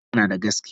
Faruk yanada gaskiya?